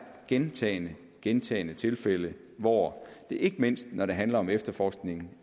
gentagne gentagne tilfælde hvor det ikke mindst når det handler om efterforskningen